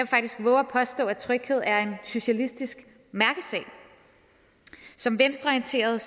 faktisk vove at påstå at tryghed er en socialistisk mærkesag som venstreorienteret